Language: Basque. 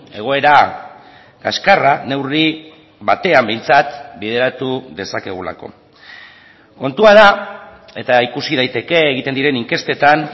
egoera kaskarra neurri batean behintzat bideratu dezakegulako kontua da eta ikusi daiteke egiten diren inkestetan